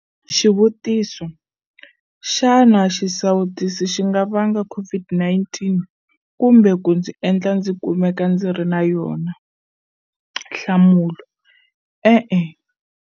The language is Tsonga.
Xivutiso- Xana xisawutisi xi nga vanga COVID-19 kumbe ku ndzi endla ndzi kumeka ndzi ri na yona? Nhlamulo- E-e.